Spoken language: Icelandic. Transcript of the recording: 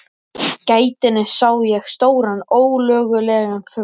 gættinni sá ég stóran ólögulegan fugl.